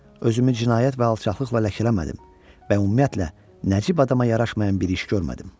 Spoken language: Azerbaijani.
Özümü cinayət və alçaqlıqla ləkələmədim və ümumiyyətlə Nəcib adama yaraşmayan bir iş görmədim.